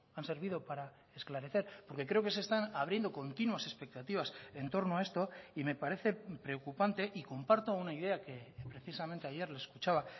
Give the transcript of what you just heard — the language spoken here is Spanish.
han servido para esclarecer porque creo que se están abriendo continuas expectativas en torno a esto y me parece preocupante y comparto una idea que precisamente ayer le escuchaba